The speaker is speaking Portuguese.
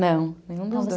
Não, nenhum dos dois.